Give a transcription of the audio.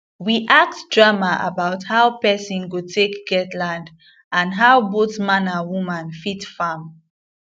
we act drama about how person go take get land and how both man and woman fit farm